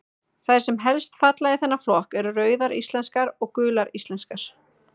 Þær sem helst falla í þennan flokk eru Rauðar íslenskar og Gular íslenskar.